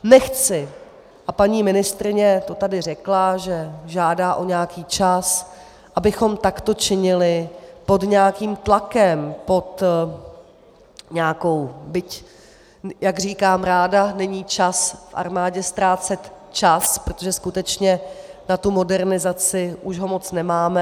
Nechci, a paní ministryně to tady řekla, že žádá o nějaký čas, abychom takto činili pod nějakým tlakem, pod nějakou... byť jak říkám ráda, není čas v armádě ztrácet čas, protože skutečně na tu modernizaci už ho moc nemáme.